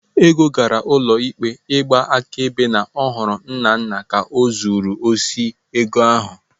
Ego gara ụlọ ikpe ịgba akaebe na ọ hụrụ Nnanna ka ọ zuru osi ego ahụ.